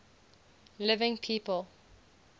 living people